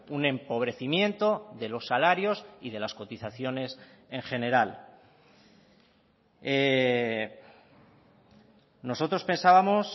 un empobrecimiento de los salarios y de las cotizaciones en general nosotros pensábamos